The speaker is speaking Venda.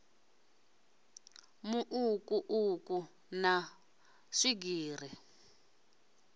mu uku uku na swigiri